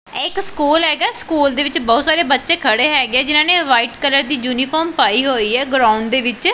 ਇਹ ਇੱਕ ਸਕੂਲ ਹੈਗਾ ਸਕੂਲ ਦੇ ਵਿੱਚ ਬਹੁਤ ਸਾਰੇ ਬੱਚੇ ਖੜੇ ਹੈਗੇ ਜਿਨ੍ਹਾਂ ਨੇ ਵਾਈਟ ਕਲਰ ਦੀ ਯੂਨੀਫਾਰਮ ਪਾਈ ਹੋਈ ਐ ਗਰਾਊਂਡ ਦੇ ਵਿੱਚ।